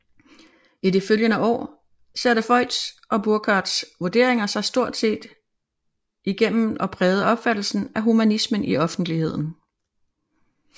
I de følgende år satte Voigts og Burckhardts vurderinger sig stort set igennem og prægede opfattelsen af humanismen i offentligheden